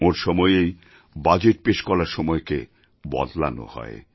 ওঁর সময়েই বাজেট পেশ করার সময়কে বদলানো হয়